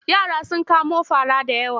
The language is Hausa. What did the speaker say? Yara sun kamo fara da yawa.